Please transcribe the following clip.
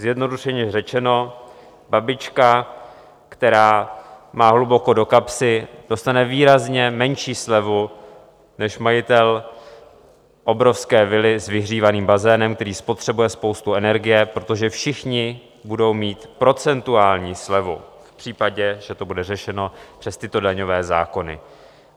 Zjednodušeně řečeno, babička, která má hluboko do kapsy, dostane výrazně menší slevu než majitel obrovské vily s vyhřívaným bazénem, který spotřebuje spoustu energie, protože všichni budou mít procentuální slevu v případě, že to bude řešeno přes tyto daňové zákony.